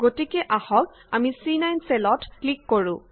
গতিকে আহক আমি চি9 চেলত ক্লিক কৰো